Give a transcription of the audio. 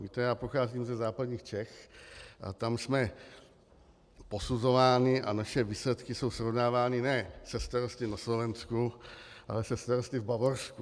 Víte, já pocházím ze západních Čech a tam jsme posuzováni a naše výsledky jsou srovnávány ne se starosty na Slovensku, ale se starosty v Bavorsku.